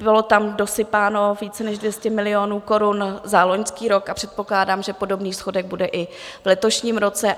Bylo tam dosypáno více než 200 milionů korun za loňský rok a předpokládám, že podobný schodek bude i v letošním roce.